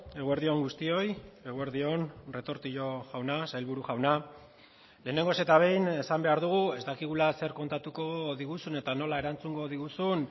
eguerdi on guztioi eguerdi on retortillo jauna sailburu jauna lehenengoz eta behin esan behar dugu ez dakigula zer kontatuko diguzun eta nola erantzungo diguzun